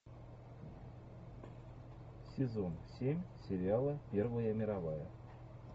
сезон семь сериала первая мировая